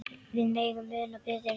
Við megum muna betri tíma.